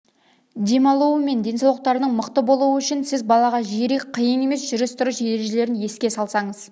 демалуы мен денсаулықтарының мықты болуы үшін сіз балаға жиірек қиын емес жүріс-тұрыс ережелерін еске салсаңыз